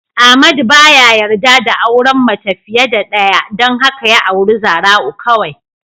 Amadu baya yarda da auren mace fiye da ɗaya don haka ya auri Zara'u kawai.